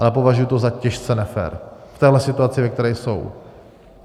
Ale považuji to za těžce nefér v téhle situaci, ve které jsou.